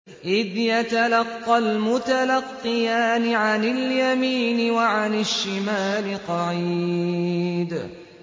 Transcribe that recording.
إِذْ يَتَلَقَّى الْمُتَلَقِّيَانِ عَنِ الْيَمِينِ وَعَنِ الشِّمَالِ قَعِيدٌ